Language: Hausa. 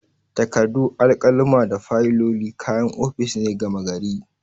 Takardu, alkaluma da fayiloli kayan ofis ne gama gari.